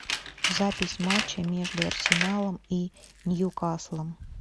запись матча между арсеналом и ньюкаслом